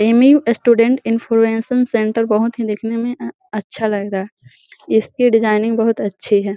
एमीम student influencer centre बहोत ही देखने में अच्छा लग रहा है। इसकी डिजाइनिंग बहोत अच्छी है।